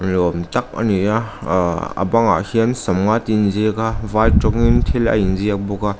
ni awm tak a ni a aaa a bangah hian sawmnga tih a inziak a vai rawngin thil a inziak bawk a.